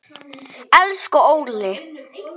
Elsku Óli.